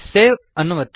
save ಅನ್ನು ಒತ್ತಿ